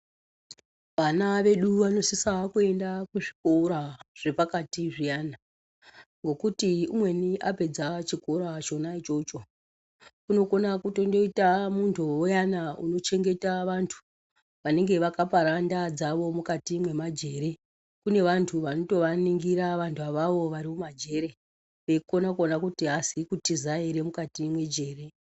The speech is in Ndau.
Vana vedu vanosisa kuenda kuzvikora zvepakati zviyana, ngokuti umweni apedza chikora chona ichocho, unokona kutondoita muntu uyana unochengeta vantu vanenge vakapara ndaa dzavo mukati mwemajere. Kune vantu vanotovaningura vantu avavo vari mumajere, veikona kuona kuti haazi kutiza ere mukati mwejere.